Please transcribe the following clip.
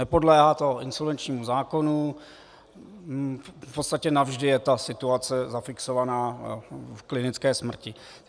Nepodléhá to insolvenčnímu zákonu, v podstatě navždy je ta situace zafixovaná v klinické smrti.